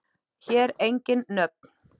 Hér engin nöfn.